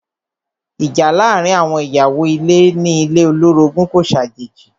Ìjà láàárín àwọn ìyàwó ilé ní ilé olorogun kò ṣàjèjì.